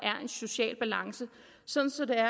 en social balance sådan at